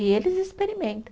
E eles experimentam.